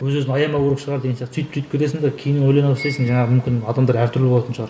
өз өзін аямау керек шығар деген сияқты сөйтіп сөйтіп кетесің де кейін ойлана бастайсың жаңағы мүмкін адамдар әртүрлі болатын шығар